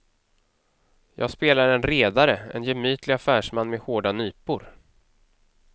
Jag spelar en redare, en gemytlig affärsman med hårda nypor.